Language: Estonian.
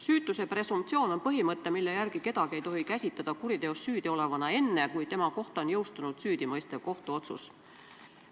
Süütuse presumptsioon on põhimõte, mille järgi kedagi ei tohi käsitada kuriteos süüdiolevana enne, kui tema kohta on jõustunud süüdimõistev kohtuotsus.